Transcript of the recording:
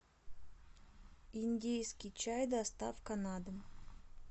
индийский чай доставка на дом